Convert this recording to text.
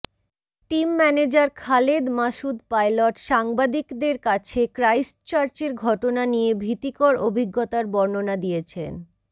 team manager Khaled Masud Pilot সাংবাদিকদের কাছে ক্রাইস্টচার্চের ঘটনা নিয়ে ভীতিকর অভিজ্ঞতার বর্ণনা দিয়েছেন